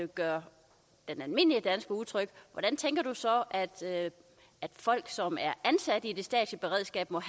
gør den almindelige danske utryg hvordan tænker du så at folk som er ansat i det statslige beredskab må